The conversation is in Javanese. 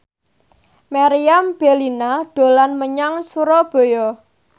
Meriam Bellina dolan menyang Surabaya